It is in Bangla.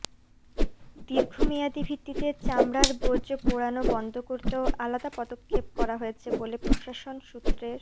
দীর্ঘমেয়াদি ভিত্তিতে চামড়ার বর্জ্য পোড়ানো বন্ধ করতেও আলাদা পদক্ষেপ করা হয়েছে বলে প্রশাসন সূত্রের